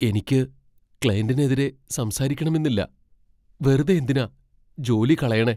എനിക്ക് ക്ലയന്റിനെതിരെ സംസാരിക്കണമെന്നില്ല, വെറുതെ എന്തിനാ ജോലി കളയണേ.